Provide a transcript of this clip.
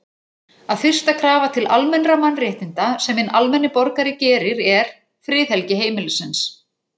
að fyrsta krafa til almennra mannréttinda sem hinn almenni borgari gerir er, friðhelgi heimilisins.